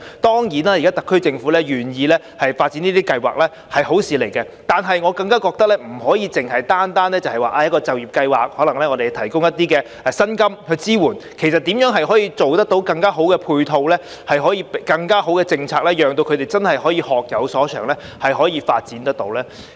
當然，現時特區政府願意發展這些計劃是好事，但我更覺得不能單靠一個就業計劃，我們可能提供薪金支持，其實如何能把配套做得更好及制訂更好的政策，讓他們可以真正學有所長及有所發展才是更重要。